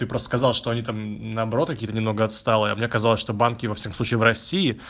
ты просто сказал что они там наоборот какие-то немного отсталые мне казалось что банки во всех случаях в россии